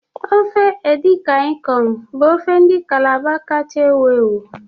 Ofe edi kan ikong bụ ofe ndị Calabar kacha ewu ewu.